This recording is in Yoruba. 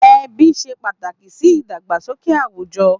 Èbí ṣé pàtákí si idàgbásóké àwújò